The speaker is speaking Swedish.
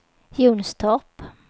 Jonstorp